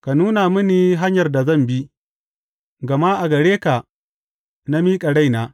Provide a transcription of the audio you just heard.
Ka nuna mini hanyar da zan bi, gama a gare ka na miƙa raina.